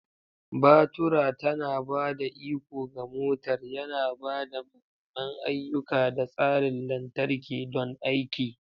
Batura tana ba da iko ga motar, yana ba da mahimman ayyuka da tsarin lantarki don aiki.